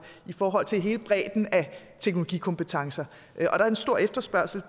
i forhold til hele bredden af teknologikompetencer er en stor efterspørgsel